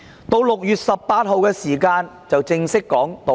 到了6月18日，她正式道歉。